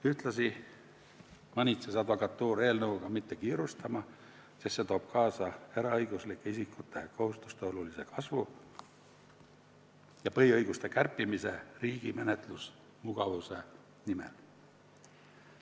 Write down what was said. Ühtlasi manitses advokatuur eelnõuga mitte kiirustama, sest see toob kaasa eraõiguslike isikute kohustuste olulise kasvu ja põhiõiguste kärpimise riigi menetlusmugavuse nimel.